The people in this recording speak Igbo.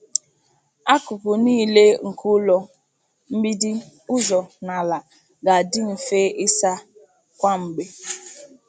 Akụkụ niile nke ụlọ— mgbidi, ụzọ, na ala— ga-adị mfe ịsa kwa mgbe.